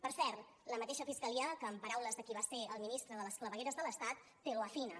per cert la mateixa fiscalia que en paraules de qui va ser el ministre de les clavegueres de l’estat te lo afina